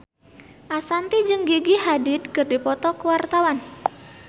Ashanti jeung Gigi Hadid keur dipoto ku wartawan